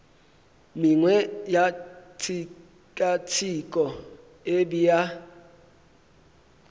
mengwe ya tshekatsheko e bea